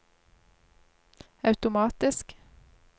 automatisk